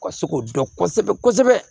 Ka se k'o dɔn kosɛbɛ kosɛbɛ